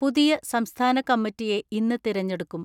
പുതിയ സംസ്ഥാന കമ്മിറ്റിയെ ഇന്ന് തെരഞ്ഞെടുക്കും.